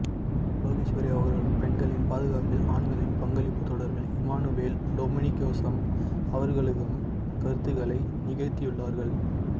லோகேஸ்வரி அவர்களும் பெண்களின் பாதுகாப்பில் ஆண்களின் பங்களிப்பு தொடர்பில் இமானுவேல் டொமினிக்யோசம் அவர்களுகம் கருத்துரைகள நிகழத்தியுள்ளார்கள்